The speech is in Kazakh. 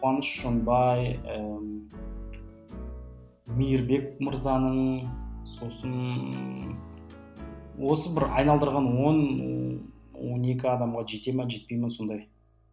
қуаныш шоңбай ііі мейірбек мырзаның сосын осы бір айналдырған он он екі адамға жете ме жетпей ме сондай